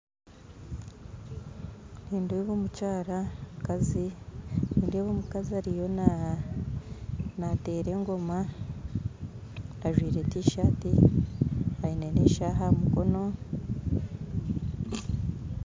Nindeeba omukazi ariyo nateera engoma ajwaire tisati aine na eshaaha aha mukono